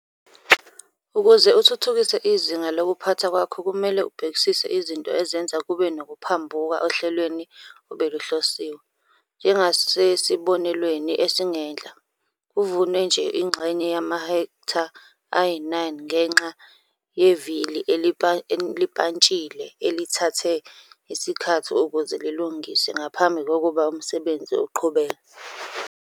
Ukuze uthuthukise izinga lokuphatha kwakho kumele ubhekisise izinto ezenza kube nokuphambuka ohlelweni obeluhlosiwe. Njengasesibonelweni esingenhla, kuvunwe nje ingxenye yamahektha ayi-9 ngenxa yevili elipantshile elithathe isikhathi ukuze lilungiswe ngaphambi kokuba umsebenzi uqhubeke.